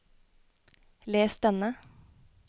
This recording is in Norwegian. les denne